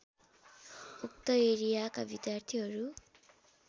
उक्त एरियाका विद्यार्थीहरू